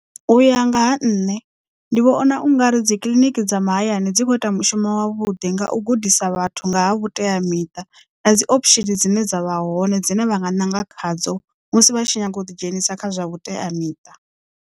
U ya nga ha nṋe ndi vhona ungari dzikiḽiniki dza mahayani dzi kho ita mushumo wavhuḓi nga u gudisa vhathu nga ha vhuteamiṱa na dzi options dzine dza vha hone dzine vha nga ṋanga khadzo musi vha tshi nyanga u ḓi dzhenisa kha zwa vhuteamiṱa.